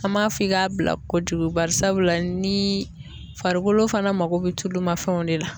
An m'a fɔ i k'a bila kojugu barisabula ni farikolo fana mako bɛ tulumafɛnw de la.